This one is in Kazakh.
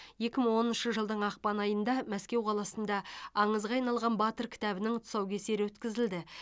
екі мың оныншы жылдың ақпан айында мәскеу қаласында аңызға айналған батыр кітабының тұсаукесері өткізілді